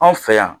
Anw fɛ yan